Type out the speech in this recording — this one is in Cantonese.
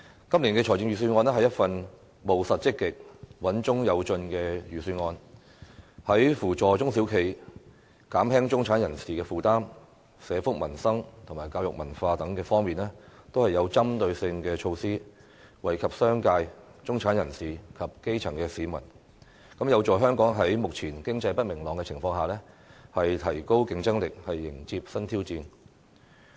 今年的預算案是一份務實積極、穩中有進的預算案，在扶助中小企、減輕中產人士負擔、社福民生和教育文化等方面均有針對性的措施，惠及商界、中產人士及基層市民，有助香港在目前經濟不明朗的情況下，提高競爭力，迎接新挑戰。